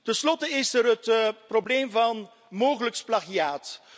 Ten slotte is er het probleem van mogelijk plagiaat.